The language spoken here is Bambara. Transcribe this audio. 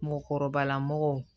Mɔgɔkɔrɔbala mɔgɔw